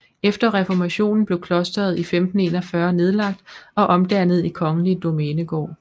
Efter reformationen blev klosteret i 1541 nedlagt og omdannet i kongelig domænegård